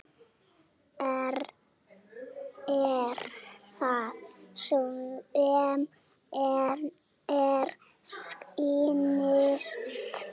Er það sem mér sýnist?